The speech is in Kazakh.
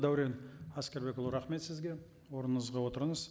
дәурен әскербекұлы рахмет сізге орныңызға отырыңыз